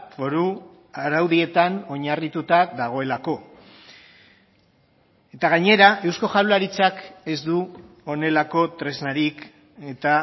foru araudietan oinarrituta dagoelako eta gainera eusko jaurlaritzak ez du honelako tresnarik eta